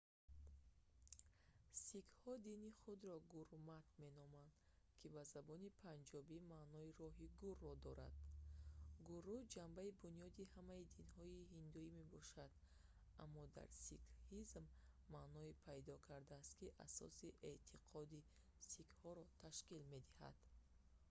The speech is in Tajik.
сикҳҳо дини худро гурмат меноманд ки ба забони панҷобӣ маънои роҳи гуру"‑ро дорад. гуру ҷанбаи бунёдии ҳамаи динҳои ҳиндуӣ мебошад аммо дар сикҳизм маъное пайдо кардааст ки асоси эътиқоди сикҳҳоро ташкил медиҳад